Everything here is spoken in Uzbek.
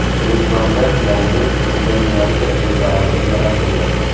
Gulistonda yangi veterinariya preparati yaratildi.